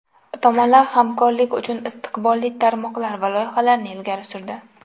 Tomonlar hamkorlik uchun istiqbolli tarmoqlar va loyihalarni ilgari surdi.